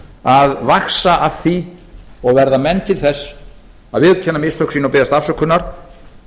að vaxa af því og verða menn til þess að viðurkenna mistök sín og biðjast afsökunar